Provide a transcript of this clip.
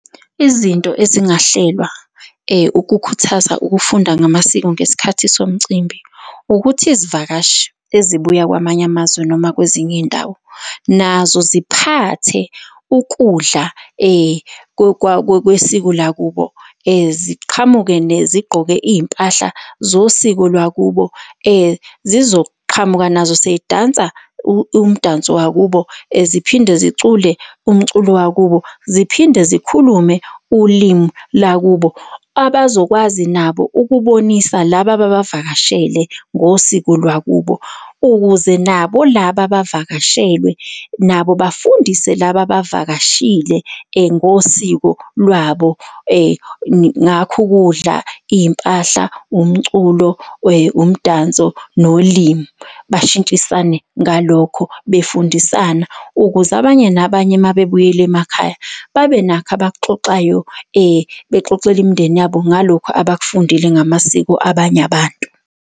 Izinto ezingahlelwa ukukhuthaza ukufunda ngamasiko ngesikhathi somcimbi. Ukuthi izivakashi ezibuya kwamanye amazwe noma kwezinye iy'ndawo nazo ziphathe ukudla kwesiko lakubo ziqhamuke zigqoke iy'mpahla zosiko lwakubo. Zizoqhamuka nazo sey'dansa umdanso wakubo, ziphinde zicule umculo wakubo, ziphinde zikhulume ulimi lakubo abazokwazi nabo ukubonisa laba ababavakashele ngosiko lwakubo ukuze nabo laba abavakashelwe nabo bafundise laba abavakashile ngosiko lwabo ngakho ukudla, iy'mpahla, umculo umdanso nolimi. Bashintshisane ngalokho befundisana ukuze abanye nabanye mabebuyela emakhaya babenakho obak'xoxayo, bexoxela imindeni yabo ngalokhu abakufundile ngamasiko abanye abantu.